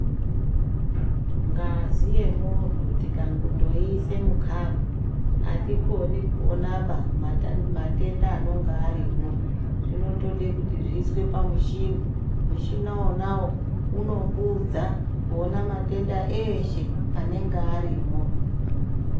Ngazi yemunhu tikangondoise mukhapu atikoni kuonaba matenda anonga arimo zvinode kuti zviiswe pamushini, mushina wonawo unokuudza kuona matenda eshe anenge arimo.